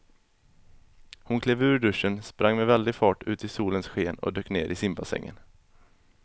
Hon klev ur duschen, sprang med väldig fart ut i solens sken och dök ner i simbassängen.